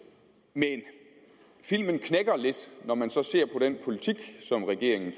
men filmen knækker lidt når man så ser på den politik som regeringen